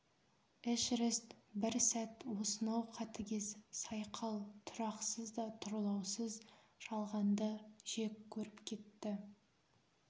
эшерест бір сәт осынау қатыгез сайқал тұрақсыз да тұрлаусыз жалғанды жек көріп кетті